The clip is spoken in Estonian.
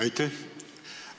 Aitäh!